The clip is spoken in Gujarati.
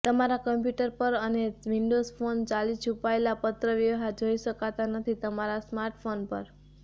તમારા કમ્પ્યુટર પર અને વિન્ડોઝ ફોન ચાલી છુપાયેલા પત્રવ્યવહાર જોઈ શકતા નથી તમારા સ્માર્ટફોન પર